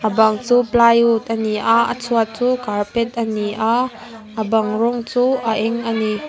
bang chu plywood a ni a a chhuat chu carpet a ni a a bang rawng chu a eng a ni.